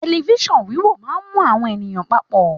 Telifisan wíwo máa mú àwọn èèyàn papọ.